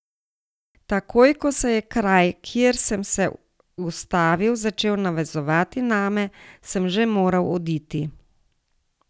Takoj ko se je kraj, kjer sem se ustavil, začel navezovati name, sem že moral oditi.